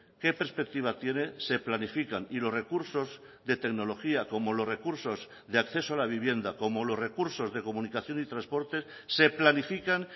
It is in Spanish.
qué perspectiva tiene se planifican y los recursos de tecnología como los recursos de acceso a la vivienda como los recursos de comunicación y transportes se planifican